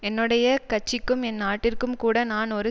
என்னுடைய கட்சிக்கும் ஏன் நாட்டிற்கும் கூட நான் ஒரு